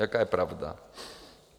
Jaká je pravda?